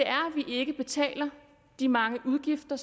ikke betaler de mange udgifter